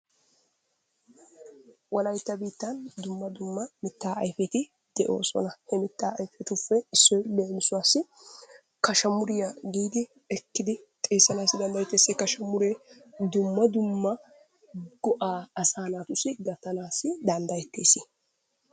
Wolaytta biittan dumma dumma mittaa ayfetti de'oosona. He miittaa ayfetuppe issoy leemisuwaasi kazamuriyaa giidi ekkidi xeessanasi dandayettess. He kazamuree dumma dumma go"aa asaa naatussi gattanaassi danddayetes.